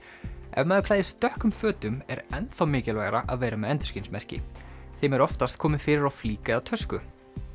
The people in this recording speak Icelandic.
ef maður klæðist dökkum fötum er enn þá mikilvægara að vera með endurskinsmerki þeim er oftast komið fyrir á flík eða tösku